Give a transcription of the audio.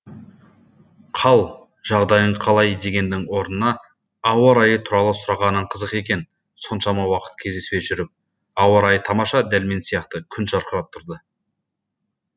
қал жағдайың қалай дегеннің орнына ауа райы туралы сұрағаның қызық екен соншама уақыт кездеспей жүріп ауа райы тамаша дәл мен сияқты күн жарқырап тұрды